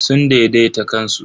Sun daidaita kansu.